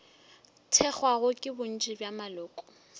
thekgwago ke bontši bja maloko